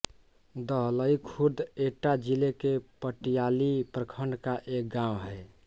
दहलई खुर्द एटा जिले के पटियाली प्रखण्ड का एक गाँव है